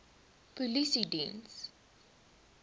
polisiediens